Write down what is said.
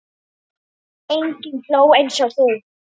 Enginn hló eins og þú.